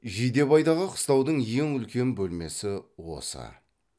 жидебайдағы қыстаудың ең үлкен бөлмесі осы